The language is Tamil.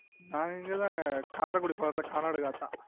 நாங்க இங்கதங்க காரைக்குடி பக்கதுல கானாடுகாத்தான்